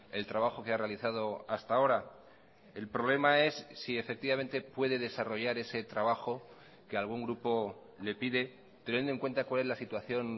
el trabajo que ha realizado hasta ahora el problema es si efectivamente puede desarrollar ese trabajo que algún grupo le pide teniendo en cuenta cuál es la situación